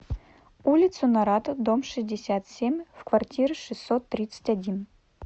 улицу нарата дом шестьдесят семь в квартира шестьсот тридцать один